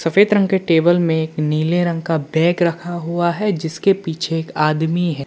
सफेद रंग के टेबल में एक नीले रंग का बैग रखा हुआ है जिसके पीछे एक आदमी है।